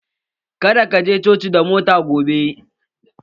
Ka da ka je coci da mota gobe!